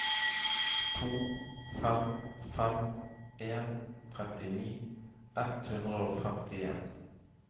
to fem fem en trettini ett hundre og femtien